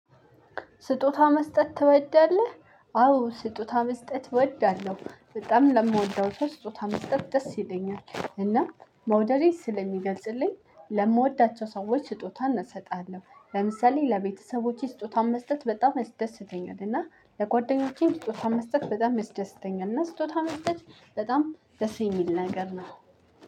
ስጦታ መስጠት ትወዳለህ? አዎ ስጦታ መስጠት እወዳለሁ በጣም ለምወደው ስጦታ መስጠት ደስ ይለኛል እና መውደዴን ስለሚገልጽልኝ ለምወዳቸው ሰዎች ስጦታን እሰጣለው። ለምሳሌ ለቤተሰቦቼ ስጦታን መስጠት በጣም ያስደስተኛል። እና ለጓደኞቼም ስጦታን መስጠት በጣም ያስደስተኛል። እና ስጦታ መስጠት በጣም ደስ የሚል ነገር ነው።